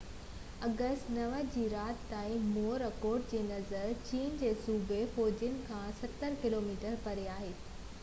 August 9 جي رات تائين موراڪوٽ جي نظر چين جي صوبي فيوجن کان ستر ڪلوميٽر پري هئي